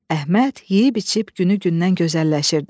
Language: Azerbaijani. Əhməd yeyib-içib günü-gündən gözəlləşirdi.